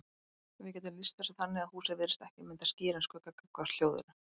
Við getum lýst þessu þannig að húsið virðist ekki mynda skýran skugga gagnvart hljóðinu.